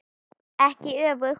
Ekki öfugt.